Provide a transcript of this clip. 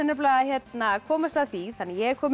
að komast að því ég er komin